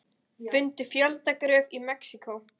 Fundu fjöldagröf í Mexíkó